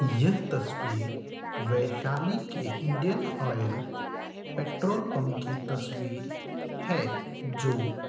यह तस्वीर वैशाली के इंडियन ऑयल पेट्रोल पंप की तस्वीर है जो--